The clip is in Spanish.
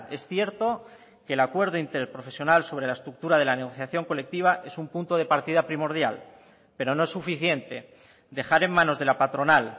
es cierto que el acuerdo interprofesional sobre la estructura de la negociación colectiva es un punto de partida primordial pero no es suficiente dejar en manos de la patronal